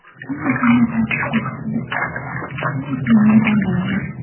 Chunki hamma ta’tilga chiqadi yoki issiqda ishlamay dam oladi.